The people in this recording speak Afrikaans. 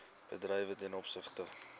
bedrywe ten opsigte